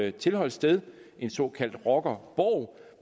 et tilholdssted en såkaldt rockerborg